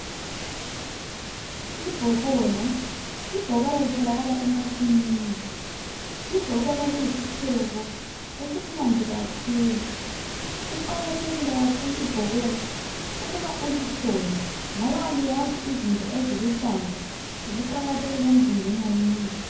Ibhokola litholakala emasimini. Ibhokola liyisitshebo esimnandi kakhulu. Liqakathekile kakhulu ibhokola ukuba ulithole, ngoba izinto eziluhlaza ziqakathekile kakhulu emzimbeni womuntu.